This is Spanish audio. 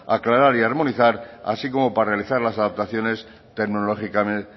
aclarar y armonizar así como para realizar las adaptaciones